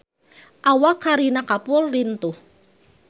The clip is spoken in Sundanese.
Awak Kareena Kapoor lintuh